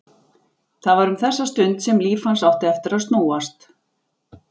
Það var um þessa stund sem líf hans átti eftir að snúast.